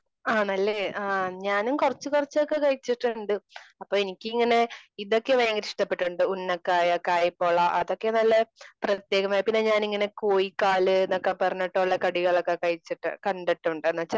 ആണല്ലെ? ആ ഞാനും കുറച്ച് കുറച്ചൊക്കെ കഴിച്ചിട്ടുണ്ട്.അപ്പോ എനിക്കിങ്ങനെ ഇതൊക്കെ ഭയങ്കര ഇഷ്ടപ്പെട്ടിട്ടുണ്ട് ഉന്നക്കായ, കായ്പോള അതൊക്കെ നല്ല പ്രത്യേകമായി പിന്നെ ഞാൻ ഇങ്ങനെ കോഴിക്കാല് എന്ന് എന്നൊക്കെ പറഞ്ഞിട്ടുള്ള കടികളൊക്കെ കഴിച്ച് കണ്ടിട്ടുണ്ട് . എന്ന് വച്ച